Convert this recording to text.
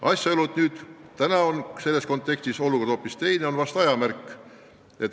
Asjaolu, et nüüd on selles kontekstis olukord hoopis teine, on vahest aja märk.